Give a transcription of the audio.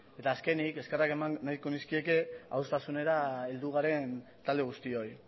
eta azkenik eskerrak eman nahiko nizkieke adostasunera heldu garen talde guztioi